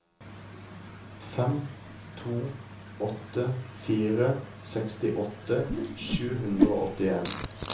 fem to åtte fire sekstiåtte sju hundre og åttien